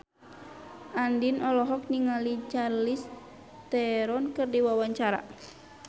Andien olohok ningali Charlize Theron keur diwawancara